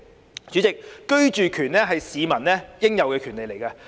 代理主席，居住權是市民應有的權利。